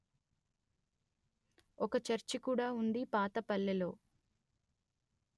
ఓక చర్చి కూడా ఉంది పాత పల్లెలో